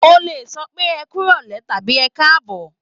O lè sọ pé ẹ kú ìrọ̀lẹ̀ tàbí ẹ káàbọ̀.